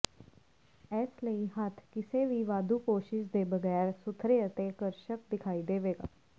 ਇਸ ਲਈ ਹੱਥ ਕਿਸੇ ਵੀ ਵਾਧੂ ਕੋਸ਼ਿਸ਼ ਦੇ ਬਗੈਰ ਸੁਥਰੇ ਅਤੇ ਆਕਰਸ਼ਕ ਦਿਖਾਈ ਦੇਵੇਗਾ